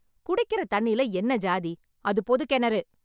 குடிக்கிற தண்ணியில என்ன சாதி? அது பொதுக் கிணறு.